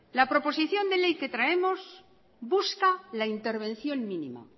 la proposición de ley que traemos busca la intervención mínima